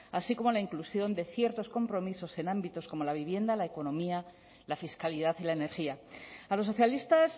así como la inclusión de ciertos compromisos en ámbitos como la vivienda la economía la fiscalidad y la energía a los socialistas